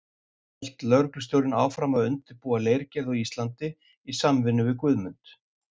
Hélt lögreglustjórinn áfram að undirbúa leirgerð á Íslandi í samvinnu við Guðmund.